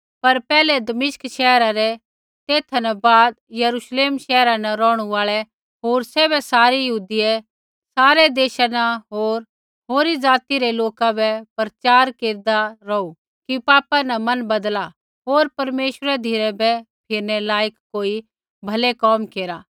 पर पैहलै दमिश्क शैहर रै तेथा न बाद यरूश्लेम शैहरा न रौहणु आल़ै होर तैबै सारै यहूदियै रै सारै देशा न होर होरी ज़ाति रै लोका बै प्रचार केरदा रौहू कि पापा न मन बदला होर परमेश्वरै धिराबै फिरनै लायक कोई भलै कोम केरा